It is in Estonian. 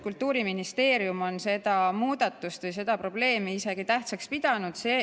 Kultuuriministeerium on seda muudatust või seda probleemi isegi tähtsaks pidanud.